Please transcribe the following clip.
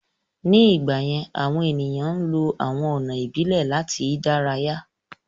Ní ìgbà yẹ́n, àwọn èèyàn ń lọ àwọn ọ̀nà ìbílẹ̀ láti ìdárayá